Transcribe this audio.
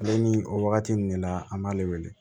Ale ni o wagati ninnu de la an b'ale wele